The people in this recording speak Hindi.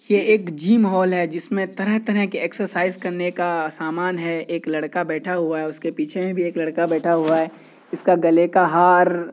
ये एक जिम हॉल है जिसमें तरह- तरह के एक्सरसाइज करने का सामान है। एक लड़का बैठा हुआ है। उसके पीछे में भी एक लड़का बैठा हुआ है। इसका गले का हर--